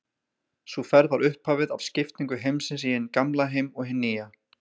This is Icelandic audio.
Sú ferð var upphafið af skiptingu heimsins í hinn gamla heim og hinn nýja.